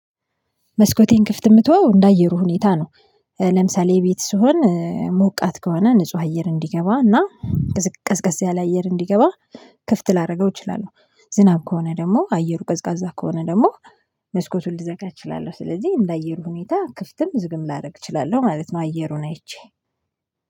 መስኮቴን ክፍት የምትተው እንደ አየሩ ሁኔታ ነው። ለምሳሌ ቤት ስሆን ሞቃት ከሆነ ንጹህ አየር እንዲገባ እና ቀዝቀዝ ያለ አየር እንዲገባ ክፍት ላደርገው እችላለሁ። ዝናብ ከሆነ ደግሞ አየሩ ቀዝቃዛ ከሆነ ደግሞ መስኮቱን ልዘጋ እችላለሁ ስለዚህ እንደ አየሩ ሁኔታ ክፍትም ዝግም ላደርግ እችላለሁ ማለት ነው። አየሩን አይቼ